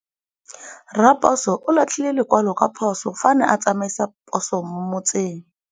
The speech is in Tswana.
Raposo o latlhie lekwalô ka phosô fa a ne a tsamaisa poso mo motseng.